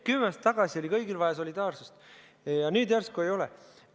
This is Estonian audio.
Kümme aastat tagasi oli kõigil vaja solidaarsust ja nüüd järsku ei ole.